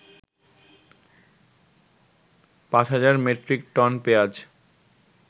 ৫০০০ metric ton পেয়াজ